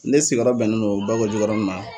Ne sigirɔ bɛnnen no Bakɔjikɔrɔni ma.